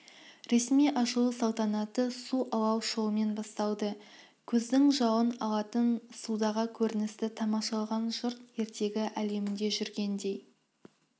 ресми ашылу салтанаты су-алау шоуымен басталды көздің жауын алатын судағы көріністі тамашалаған жұрт ертегі әлемінде жүргендей